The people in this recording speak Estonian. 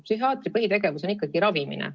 Psühhiaatri põhitegevus on ikkagi ravimine.